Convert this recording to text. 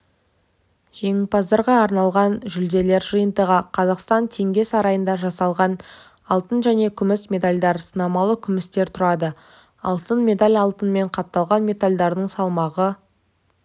жеңімпаздарға арналған жүлделер жиынтығы қазақстан теңге сарайында жасалған алтын және күміс медальдар сынамалы күмістен тұрады алтын медаль алтынмен қапталған медальдардың салмағы